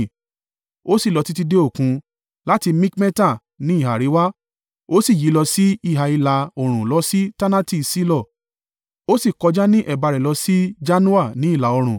Ó sì lọ títí dé Òkun. Láti Mikmeta ní ìhà àríwá, ó sì yí lọ sí ìhà ìlà-oòrùn lọ sí Taanati-Ṣilo, ó sì kọjá ní ẹ̀bá rẹ̀ lọ sí Janoa ní ìlà-oòrùn.